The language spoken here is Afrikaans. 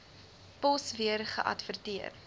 pos weer geadverteer